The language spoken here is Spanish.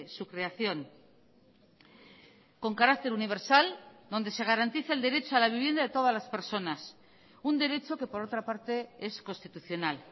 su creación con carácter universal donde se garantice el derecho a la vivienda de todas las personas un derecho que por otra parte es constitucional